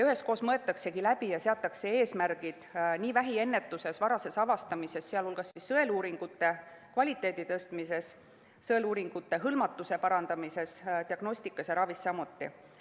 Üheskoos mõeldaksegi läbi ja seatakse eesmärgid vähiennetuses, varases avastamises, sh sõeluuringute kvaliteedi tõstmises, sõeluuringutega hõlmatuse parandamises, diagnostikas ja samuti ravis.